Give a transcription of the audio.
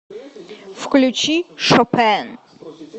включи шопен